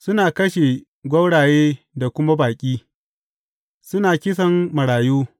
Suna kashe gwauraye da kuma baƙi; suna kisan marayu.